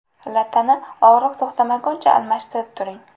Lattani og‘riq to‘xtamaguncha almashtirib turing.